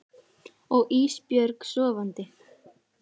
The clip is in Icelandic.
Og Ísbjörg sofandi.